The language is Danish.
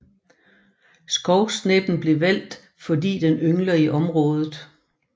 Skovsneppen blev valgt fordi den yngler i området